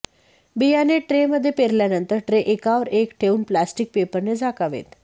बियाणे ट्रेमध्ये पेरल्यावर ट्रे एकावर एक ठेवून प्लॅस्टिक पेपरने झाकावेत